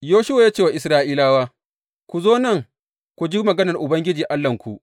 Yoshuwa ya ce wa Isra’ilawa, Ku zo nan ku ji maganar Ubangiji Allahnku.